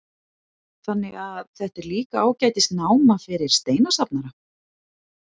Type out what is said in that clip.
Þannig að þetta er líka ágætis náma fyrir steinasafnara?